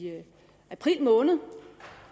april måned